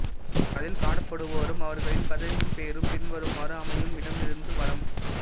அதில் காணப்படுவோரும் அவர்களின் பதவியின் பெயரும் பின்வருமாறு அமையும் இடமிருந்து வலம்